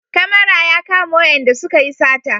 Kamara ya kama wayanda suka yi sata